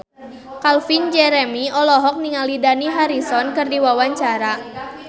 Calvin Jeremy olohok ningali Dani Harrison keur diwawancara